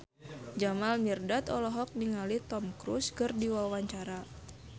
Jamal Mirdad olohok ningali Tom Cruise keur diwawancara